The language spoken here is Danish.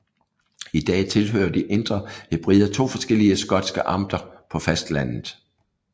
I dag tilhører de Indre Hebrider to forskellige skotske amter på fastlandet